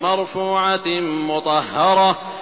مَّرْفُوعَةٍ مُّطَهَّرَةٍ